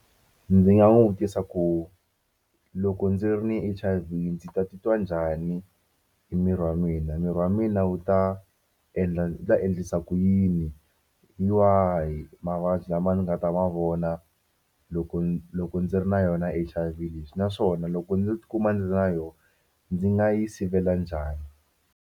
Ndzi nga n'wi vutisa ku loko ndzi ri ni H_I_V ndzi ta titwa njhani hi miri wa mina miri wa mina wu ta endla wu ta endlisa ku yini hi wahi mavabyi lama ni nga ta ma vona loko loko ndzi ri na yona H_I_V lexi naswona loko ndzo tikuma ndzi ri na yona ndzi nga yi sivela njhani.